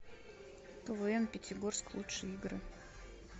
квн пятигорск лучшие игры